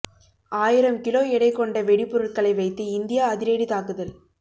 ஆயிரம் கிலோ எடை கொண்ட வெடிபொருட்களை வைத்து இந்தியா அதிரடி தாக்குதல்